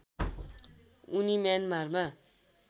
उनी म्यानमारमा